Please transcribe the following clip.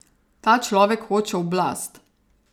Ta človek hoče oblast.